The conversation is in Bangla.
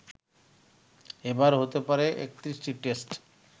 এবার হতে পারে ৩১টি টেস্ট